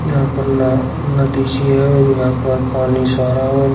यहां पर ना नदी सी है और यहां पर पानी सा आ रहा है और--